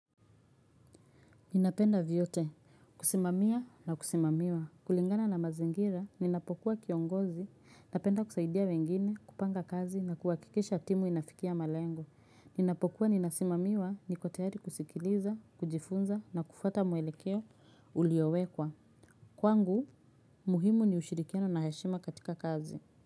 Ninapenda vyote. Kusimamia na kusimamiwa. Kulingana na mazingira, ninapokuwa kiongozi, napenda kusaidia wengine, kupanga kazi na kuhakikisha timu inafikia malengo. Ninapokuwa ninasimamiwa niko tayari kusikiliza, kujifunza na kufuata mwelekeo uliowekwa. Kwangu, muhimu ni ushirikiano na heshima katika kazi.